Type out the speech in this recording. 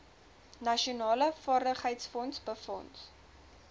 nasionale vaardigheidsfonds befonds